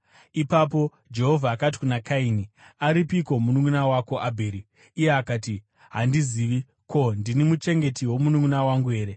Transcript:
Ipapo Jehovha akati kuna Kaini, “Aripiko mununʼuna wako Abheri?” Iye akati, “Handizivi. Ko, ndini muchengeti womununʼuna wangu here?”